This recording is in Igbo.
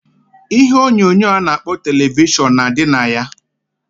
Ihe onyonyo a na-akpọ televishọn na adị na ya.